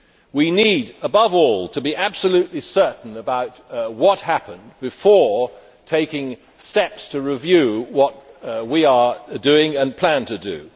We need, above all, to be absolutely certain about what happened before taking steps to review what we are doing and plan to do.